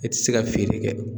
E ti se ka feere kɛ.